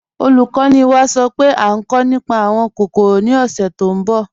Olúkọ̀ní wá sọ́ pé à nkọ̀ nípá awọn kòkórò ni ọ̀ṣẹ̀ tó nbọ̀.